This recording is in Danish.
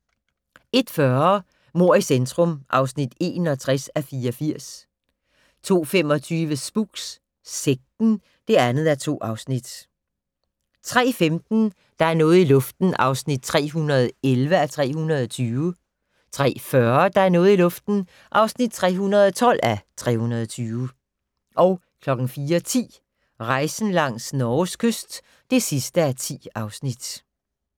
01:40: Mord i centrum (61:84) 02:25: Spooks: Sekten (2:2) 03:15: Der er noget i luften (311:320) 03:40: Der er noget i luften (312:320) 04:10: Rejsen langs Norges kyst (10:10)